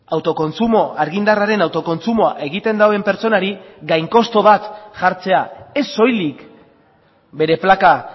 autokontsumo argindarraren autokontsumoa egiten duen pertsonari gain kostu bat jartzea ez soilik bere plaka